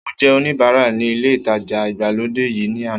Mo jẹ́ oníbara ní ilé ìtajà ìgbàlódé yìí ní àná